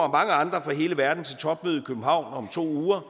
andre fra hele verden til topmøde i københavn om to uger